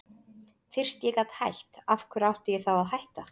Fyrst ég gat hætt, af hverju átti ég þá að hætta?